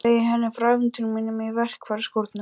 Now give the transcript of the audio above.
Segi henni frá ævintýri mínu í verkfæraskúrnum.